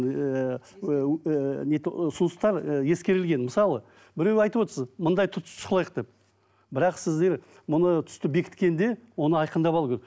ііі ұсыныстар і ескерілген мысалы біреу айтып отырсыз мындай деп бірақ сіздер мұны түсті бекіткенде оны айқындап алу керек